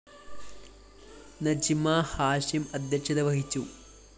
നജ്മ ഹാഷിം അധ്യക്ഷത വഹിച്ചു